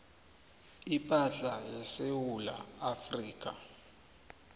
ipahla yesewula afrika